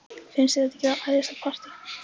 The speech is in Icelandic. Finnst þér þetta ekki æðislegt partí?